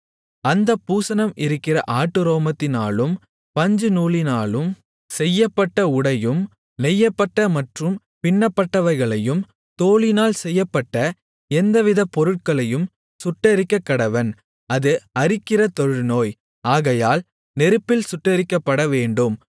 அந்த பூசணம் இருக்கிற ஆட்டுரோமத்தினாலும் பஞ்சுநூலினாலும் செய்யப்பட்ட உடையையும் நெய்யப்பட்ட மற்றும் பின்னப்பட்டவைகளையும் தோலினால் செய்யப்பட்ட எந்தவித பொருளையும் சுட்டெரிக்கக்கடவன் அது அரிக்கிற தொழுநோய் ஆகையால் நெருப்பில் சுட்டெரிக்கப்படவேண்டும்